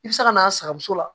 I bɛ se ka na a sagamuso la